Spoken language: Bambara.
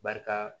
Barika